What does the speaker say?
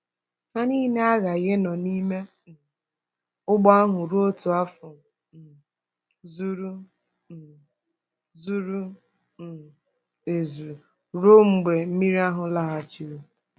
Ha nile aghaghị ịnọ n’ime um ụgbọ ahụ ruo otu afọ um zuru um zuru um ezu ruo mgbe mmiri ahụ laghachiri.